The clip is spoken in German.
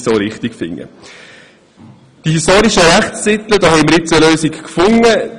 Was die historischen Rechtstitel betrifft, denke ich, dass wir nun eine Lösung gefunden haben.